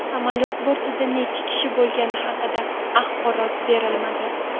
Samolyot bortida necha kishi bo‘lgani haqida axborot berilmadi.